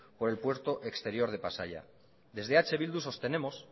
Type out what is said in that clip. por el puerto exterior de pasaia desde eh bildu sostenemos